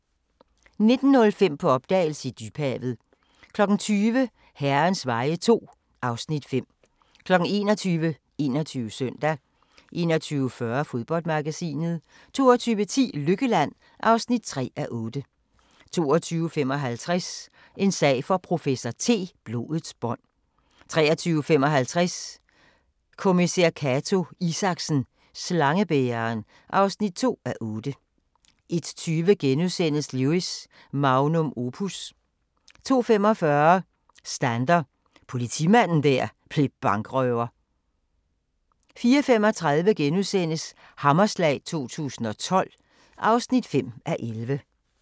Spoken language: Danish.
19:05: På opdagelse i dybhavet 20:00: Herrens veje II (Afs. 5) 21:00: 21 Søndag 21:40: Fodboldmagasinet 22:10: Lykkeland (3:8) 22:55: En sag for professor T: Blodets bånd 23:55: Kommissær Cato Isaksen: Slangebæreren (2:8) 01:20: Lewis: Magnum opus * 02:45: Stander – politimanden der blev bankrøver 04:35: Hammerslag 2012 (5:11)*